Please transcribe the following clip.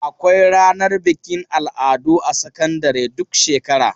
Akwai ranar bikin al'adu a sakandare duk shekara.